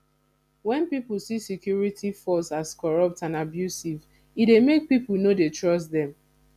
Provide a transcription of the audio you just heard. when pipo see security force as corrupt and abusive e dey make pipo no dey trust them